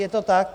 Je to tak?